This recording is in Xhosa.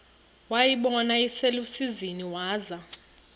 wayibona iselusizini waza